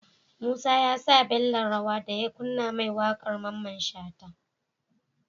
Musa yasa Bello rawa daya kunna ma waƙar mamman shata